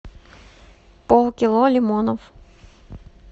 полкило лимонов